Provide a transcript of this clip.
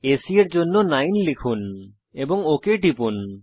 AC এর জন্য 9 লিখুন এবং ওক টিপুন